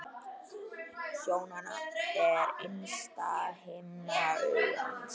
Sjónan er innsta himna augans.